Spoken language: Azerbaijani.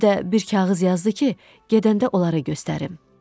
Bir də bir kağız yazdı ki, gedəndə onlara göstərim.